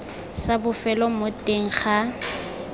sa bofelo mo teng ga